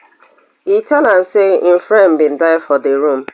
e tell am say im friend bin die for di room